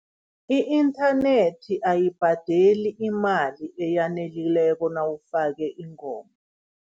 I-inthanethi ayibhadeli imali eyanelileko nawufake ingoma.